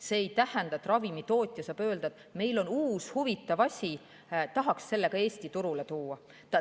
See ei tähenda, et ravimitootja saab öelda, et meil on uus huvitav asi, tahaks selle Eesti turule tuua.